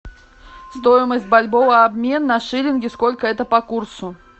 стоимость бальбоа обмен на шиллинги сколько это по курсу